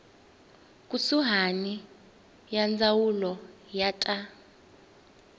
kusuhani ya ndzawulo ya ta